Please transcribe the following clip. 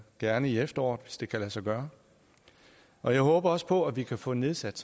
gerne i efteråret hvis det kan lade sig gøre og jeg håber også på at vi kan få nedsat